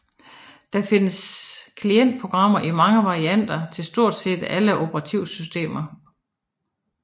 Der findes klientprogrammer i mange varianter til stort set alle operativsystemer